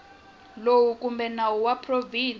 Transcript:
lowu kumbe nawu wa provinsi